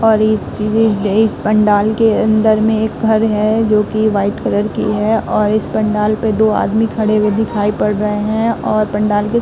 और इस इस पंडाल के अंदर में एक घर है जोकि व्हाइट कलर की है और इस पंडाल पे दो आदमी खड़े हुए दिखाई पड़ रहे हैं और पंडाल के --